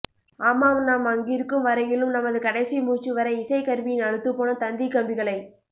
ஆமாம் நாம் அங்கிருக்கும் வரையிலும் நமது கடைசி மூச்சுவரை இசைக்கருவியின் அலுத்துப்போன தந்திக்கம்பிகளை